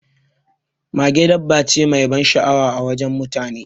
Mage dabba ce mai ban sha'awa a wajen mutane.